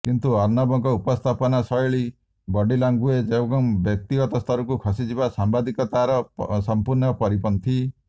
କିନ୍ତୁ ଅର୍ଣ୍ଣବଙ୍କ ଉପସ୍ଥାପନା ଶୈଳୀ ବଡି ଲାଙ୍ଗୁଏଜ୍ ଏବଂ ବ୍ୟକ୍ତିଗତ ସ୍ତରକୁ ଖସିଯିବା ସାମ୍ବାଦିକତାର ସମ୍ପୂର୍ଣ୍ଣ ପରିପନ୍ଥୀ